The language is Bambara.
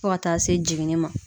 Fɔ ka taa se jiginni ma